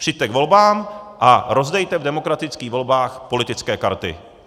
Přijďte k volbám a rozdejte v demokratických volbách politické karty.